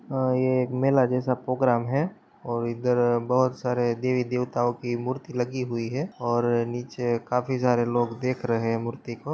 अ ये एक मेला जैसा पोग्राम है और इधर बहुत सारे देवी-देवताओं की मूर्ति लगी हुई है और नीचे काफी सारे लोग देख रहे हैं मूर्ति को।